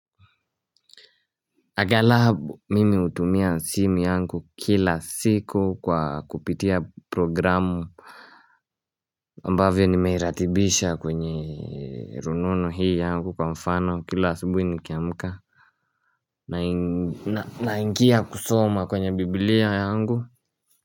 Aggalabu mimi hutumia simu yangu kila siku kwa kupitia programu aMbavyo nimeiratibisha kwenye rununu hii yangu kwa mfano kila asubuhi nikiamuka naingia kusoma kwenye bibilia yangu.